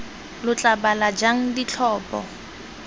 lo tla bala jang ditlhopho